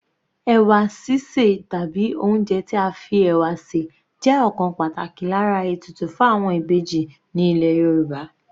Ẹ̀wà sísè tàbí oúnjẹ tí a fi ẹ̀wà sè jẹ́ ọ̀kan pàtàkì lára ètùtù fún àwọn Ìbejì ní ilẹ̀ Yorùbá.